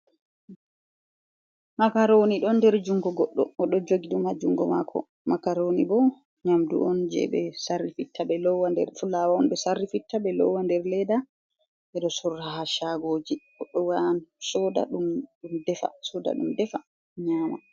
Makaroni don der jungo goɗɗo o ɗo jogi ɗum haa jungo mako. Makaroni bo nyamdu on je ɓe sarri fitta ɓe lowa nder fulawa on, sarri fitta ɓe lowa nder leda, ɓe ɗo sorra ha shagoji goɗɗo yaha soda ɗum ndefa, soda ɗum ndefa nyama.